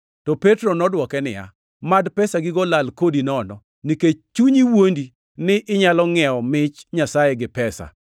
To Petro nodwoke niya, “Mad pesagigo lal kodi nono, nikech chunyi wuondi ni inyalo ngʼiewo mich Nyasaye gi pesa!